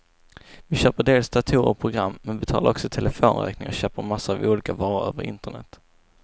Vi köper dels datorer och program, men betalar också telefonräkningen och köper massor av olika varor över internet.